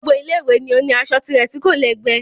Gbogbo Ilé ìwé ni ó ní aṣọ tirẹ̀ tí kò lẹ́gbẹ́